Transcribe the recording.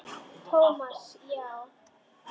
Thomas, já.